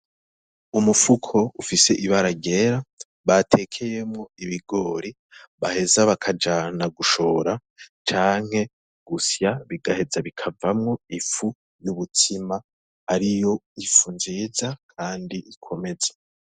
Umufuko ufise ibara ryera batekeyemwo ibigori baheza bakajana gushora canke gusya bigaheza bikavamwo ifu n'ubutsima ariyo ifu nziza kandi ikomeza.